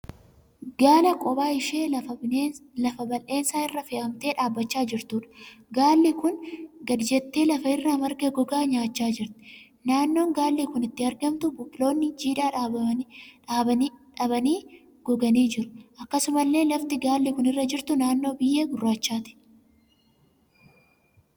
Gaala kophaa ishee lafa bal'eensa irra fe'amtee dhaabbachaa jirtuudha. Gaalli kun gadi jettee lafa irraa marga gogaa nyaachaa jirti. Naannoon gaalli kun itti argamtu biqiloonni jiidha dhabanii goganii jiru. Akkasumallee lafti gaalli kun irra jirtu naannoo biyyee gurraachaati.